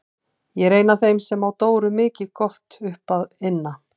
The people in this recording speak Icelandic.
Ég er ein af þeim sem á Dóru mikið gott upp að inna.